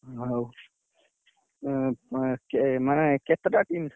ହଉ ଉଁ ଏଁ କେ ମାନେ କେତେଟା team ?